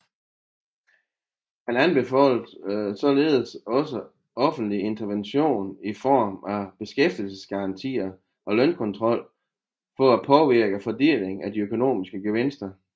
Han anbefalede således også offentlig intervention i form af beskæftigelsesgarantier og lønkontrol for at påvirke fordelingen af de økonomiske gevinster